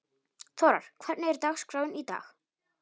Þórar, hvernig er dagskráin í dag?